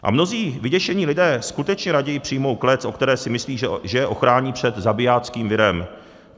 A mnozí vyděšení lidé skutečně raději přijmou klec, o které si myslí, že je ochrání před zabijáckým virem.